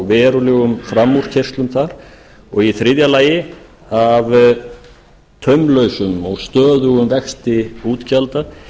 verulegum framúrkeyrslum þar og í þriðja lagi af taumlausum og stöðugum vexti útgjalda